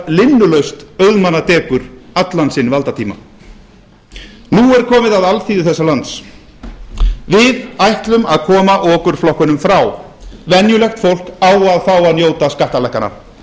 linnulaust auðmannadekur allan sinn valdatíma nú er komið að alþýðu landsins við ætlum að koma okurflokkunum frá venjulegt fólk á að fá að njóta skattalækkana